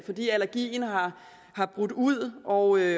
fordi allergien er brudt ud og